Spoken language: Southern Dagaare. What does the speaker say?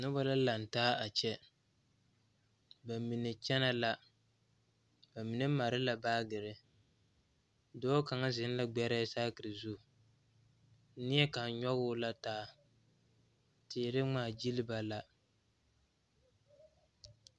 noba la lantaa a kyɛ ba mine kyɛnɛ la ba mine mare la baagere dɔɔ kaŋa zeŋ la gbɛrɛɛ saakere zu meɛkaŋ nyɔge o taa teere ŋmaa gyile ba la